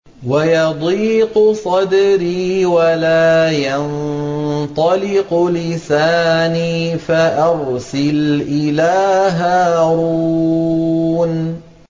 وَيَضِيقُ صَدْرِي وَلَا يَنطَلِقُ لِسَانِي فَأَرْسِلْ إِلَىٰ هَارُونَ